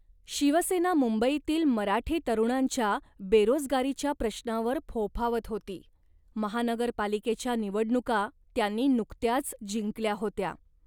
शिवसेना मंबईतील मराठी तरुणांच्या बेरोजगारीच्या प्रश्नावर फोफावत होती. महानगरपालिकेच्या निवडणुका त्यांनी नुकत्याच जिंकल्या होत्या